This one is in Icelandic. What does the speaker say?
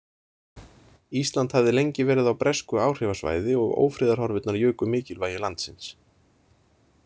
Ísland hafði lengi verið á bresku áhrifasvæði og ófriðarhorfurnar juku mikilvægi landsins.